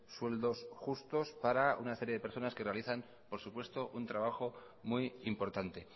sueldos justos para una serie de personas que realizan por supuesto un trabajo muy importante